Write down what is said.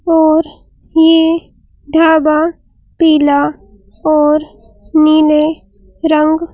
और ये ढाबा पीला और नीले रंग--